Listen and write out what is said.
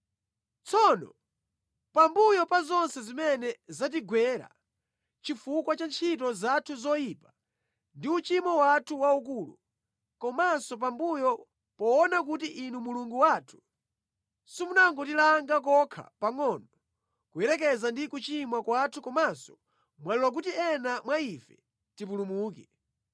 “Tsono pambuyo pa zonse zimene zatigwera chifukwa cha ntchito zathu zoyipa ndi uchimo wathu waukulu, komanso pambuyo poona kuti Inu Mulungu wathu simunangotilanga kokha pangʼono kuyerekeza ndi kuchimwa kwathu komanso mwalola kuti ena mwa ife tipulumuke,